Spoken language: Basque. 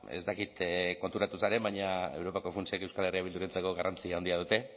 ez dakit konturatu zaren baina europako funtsek euskal herria bildurentzako garrantzi handia dute